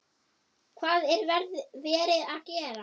Hvað er verið að gera?